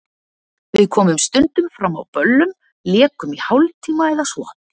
Við komum stundum fram á böllum, lékum í hálftíma eða svo.